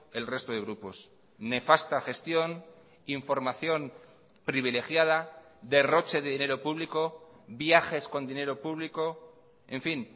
el resto de grupos nefasta gestión información privilegiada derroche de dinero público viajes con dinero público en fin